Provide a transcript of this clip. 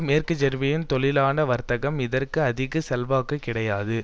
மேற்கு ஜெர்மனியின் தொழிலாள வர்க்கத்திடம் இதற்கு அதிக செல்வாக்கு கிடையாது